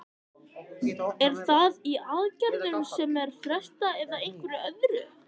Er það í aðgerðum sem er frestað eða einhverju öðru?